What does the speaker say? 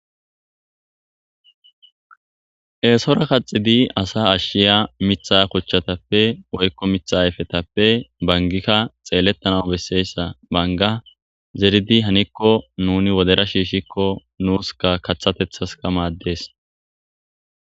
Eesora kaxidi asa ashiya miiththa kochatappe woykko miiththa ayfetappe banggikka xeeletanas beesiysa bangga zeridi haniko nuni wodera shishikko nuskka kaththatethaskka mades